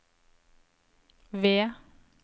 V